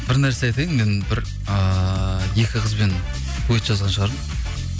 бір нәрсе айтайын мен бір ыыы екі қызбен дуэт жазған шығармын